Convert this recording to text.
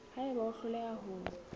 ha eba o hloleha ho